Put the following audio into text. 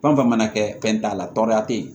Fɛn o fɛn mana kɛ fɛn t'a la tɔɔrɔya tɛ ye